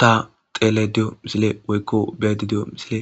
ta tele diyo misile woykko beedi diyo misile